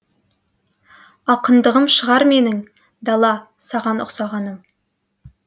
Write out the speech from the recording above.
ақындығым шығар менің дала саған ұқсағаным